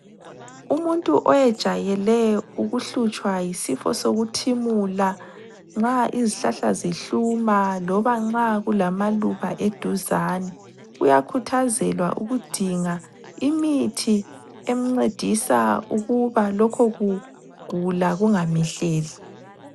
Umuntu oyejayele ukuhlutshwa yisifo sokuthimula nxa izihlahla zihluma loba nxa kulamaluba eduzane uyakhuthazelwa ukudinga imithi emncedisa ukuba lokho kugula kungamehleli.